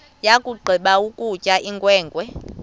yakugqiba ukutya inkwenkwe